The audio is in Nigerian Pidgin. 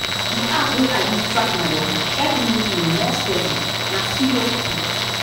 the app wey i use track my waka help me dey more steady na serious truth.